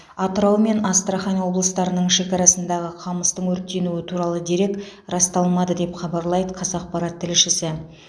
атырау мен астрахань облыстарының шекарасындағы қамыстың өртенуі туралы дерек расталмады деп хабарлайды қазақпарат тілшісі